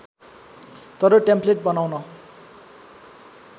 तर टेम्प्लेट बनाउन